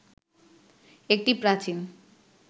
একটি প্রাচীন